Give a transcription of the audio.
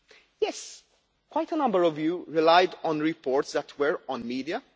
Yes, quite a number of you relied on reports that were on media.